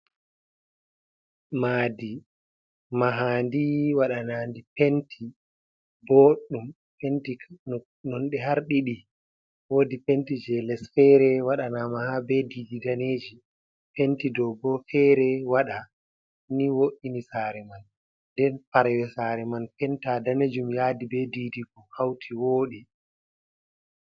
Mahdi, mahaandi waɗanaandi penti boɗɗum, penti nonnde har ɗiɗi, woodi penti jey les feere waɗanaama haa bee diidi daneeji, penti ɗoo boo feere waɗa, ni wo''ini saare man nden parawe saare man penta daneejum yaadi bee diidi ko hawti wooɗi.